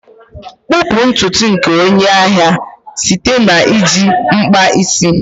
kpupu ntutu nke onye ahịa site na iji mkpa isi.